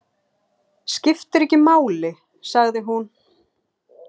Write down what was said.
Skiptir ekki máli, sagði hún.